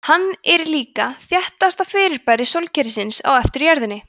hann er líka þéttasta fyrirbæri sólkerfisins á eftir jörðinni